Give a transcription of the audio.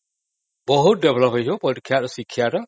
ବହୁତ development ହେଇଯିବ ପରୀକ୍ଷାର ଶିକ୍ଷାର